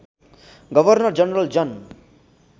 governor general Jan